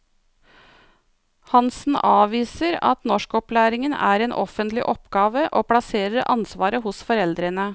Hansen avviser at norskopplæringen er en offentlig oppgave, og plasserer ansvaret hos foreldrene.